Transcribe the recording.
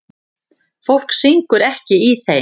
Fólk syngur ekki í þeim.